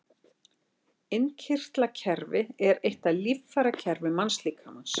Innkirtlakerfi er eitt af líffærakerfum mannslíkamans.